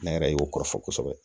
Ne yɛrɛ y'o kɔrɔfɔ kosɛbɛ